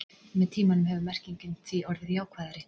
Með tímanum hefur merkingin því orðið jákvæðari.